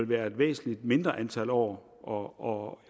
være et væsentligt mindre antal år år